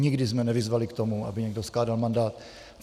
Nikdy jsme nevyzvali k tomu, aby někdo skládal mandát.